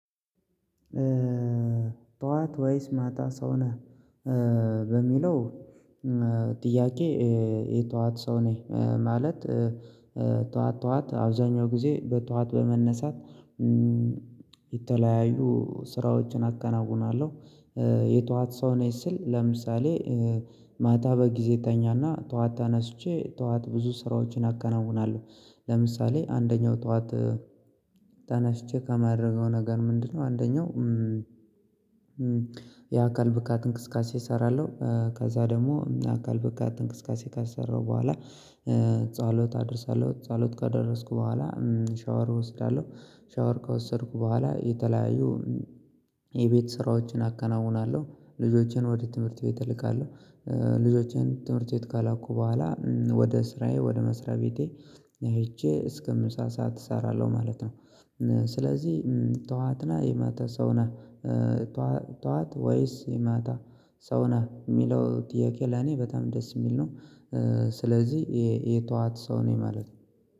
ጠዋት ወይስ ማጣ ሰው ነህ በሚለው ጥያቄ? የጠዋት ሰው ነኝ ማለት ጠዋት ጠዋት አብዛኛው ጊዜ በጠዋት በመነሳት። የተለያዩ ስራዎችን አከናውናለሁ። የጠዋት ሰው ነኝ ስል ለምሳሌ ማታ በጊዜ ተኛና ጧት ተነስቼ ጠዋት ብዙ ስራዎችን አከናውናለሁ ለምሳሌ አንደኛው ጠዋት ተነስቼ ከማድረገው ነገር ምንድነው? አንደኛው የአካል ብቃት እንቅስቃሴ እሰራለሁ ከዛ ደግሞ የአካል ብቃት እንቅስቃሴ ካሰራሁ በኋላ ጸሎት አደርሳለሁ ጸሎት ካደረስኩ በኋላ ሻወር እወስዳለሁ። ሻወር ከወሰድኩ በኋላ የተለያዩ የቤት ስራዎችን አከናውናለሁ። ልጆቼን ወደ ትምህርት ቤት እልካለሁ። ልጆቼን ትምህርት ቤት ከላኩ በኋላ ወደ ስራዬ ወደ መስሪያ ቤቴ ሄጄ እስከ ምሳ ሰዓት እሰራለሁ ማለት ነው። ስለዚህ ጠዋትና የማታ ሰው ነህ ጠዋት ወይስ የማታ ሰው ነህ የሚለው ጥያቄ? ለኔ በጣም ደስ የሚል ነው። ስለዚህ የጠዋት ሰው ነኝ ማለት ነው